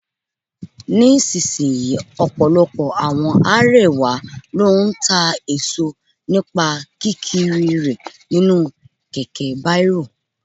Ní sisìyín, ọ̀pọ̀lọpọ̀ àwọn àríwá ló ń ta èso nípa kí kiri rè nínú kẹ̀kẹ́ bárò.